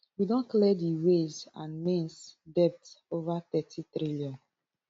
we don clear di ways and means debt of over nthirty trillion